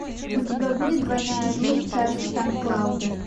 у тебя будет двойная жизнь чарли сан клауда